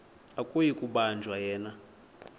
akuyi kubanjwa yena